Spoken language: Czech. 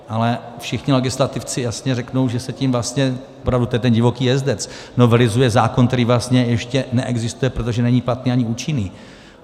Ale všichni legislativci jasně řeknou, že se tím vlastně, opravdu, to je ten divoký jezdec, novelizuje zákon, který vlastně ještě neexistuje, protože není platný ani účinný.